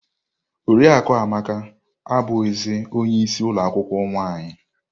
Oriakụ Amaka abuzi ọnye isii ulo akwukwuo nwaanyị.